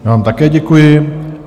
Já vám také děkuji.